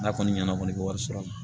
N'a kɔni ɲɛna kɔni ka wari sɔrɔ